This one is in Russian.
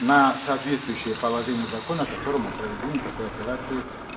на соответствующее положение закона которому проведение такой операции